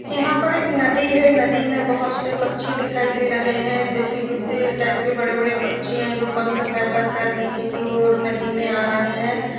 यहाँ पर एक नदी है। नदी में बहुत से पक्षी दिखाई दे रहे हैं जैसे गिद्ध टाइप के बड़े बड़े पक्षी है जो पंख फैला कर नीचे की और नदी में आ रहे हैं।